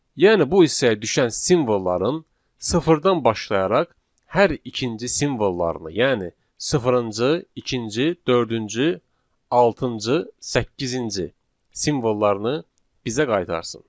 Yəni bu hissəyə düşən simvolları sıfırdan başlayaraq hər ikinci simvollarını, yəni sıfırıncı, ikinci, dördüncü, altıncı, səkkizinci simvollarını bizə qaytarsın.